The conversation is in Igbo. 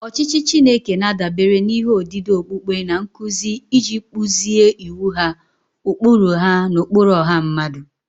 Ọchịchị Chineke na-adabere n'ihe odide okpukpe na nkuzi iji kpụzie iwu ha, ụkpụrụ ha, na ụkpụrụ ọha mmadụ.